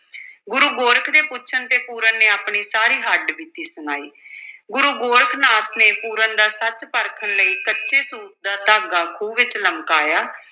ਗੁਰੂ ਗੋਰਖ ਦੇ ਪੁੱਛਣ ਤੇ ਪੂਰਨ ਨੇ ਆਪਣੀ ਸਾਰੀ ਹੱਡ-ਬੀਤੀ ਸੁਣਾਈ ਗੁਰੂ ਗੋਰਖ ਨਾਥ ਨੇ ਪੂਰਨ ਦਾ ਸੱਚ ਪਰਖਣ ਲਈ ਕੱਚੇ ਸੂਤ ਦਾ ਧਾਗਾ ਖੂਹ ਵਿੱਚ ਲਮਕਾਇਆ।